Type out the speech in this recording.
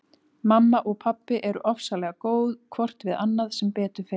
Mamma og pabbi eru ofsalega góð hvort við annað sem betur fer.